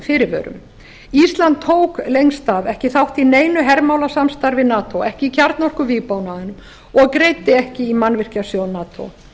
fyrirvörum ísland tók lengst af ekki þátt í neinu hermálasamstarfi nato ekki í kjarnorkuvígbúnaðinum og greiddi ekki í mannvirkjasjóð nato